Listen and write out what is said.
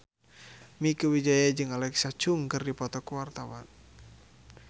Mieke Wijaya jeung Alexa Chung keur dipoto ku wartawan